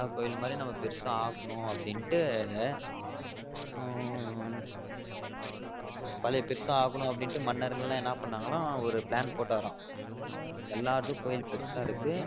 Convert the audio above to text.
அது கட்டி சும்மா normal ஆ எல்லா கோவில் மாரி பெருசா ஆக்கனு அப்டிண்டு ஆஹ் பழைய பெருசா ஆக்கனு அப்டிண்டு மன்னர்கள் எல்லாம் என்ன பண்ணனங்கலாம் ஒரு plan போட்டாராம் எல்லா எடத்து கோவில் பெருசா இருக்கு